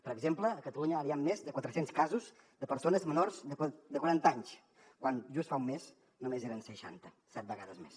per exemple a catalunya ara hi han més de quatre cents casos de persones menors de quaranta anys quan just fa un mes només eren seixanta set vegades més